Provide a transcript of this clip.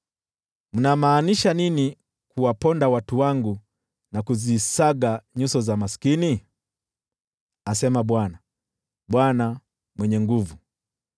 Mnamaanisha nini kuwaponda watu wangu na kuzisaga nyuso za maskini?” asema Bwana, Bwana Mwenye Nguvu Zote.